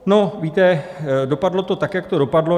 No, víte, dopadlo to tak, jak to dopadlo.